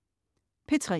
P3: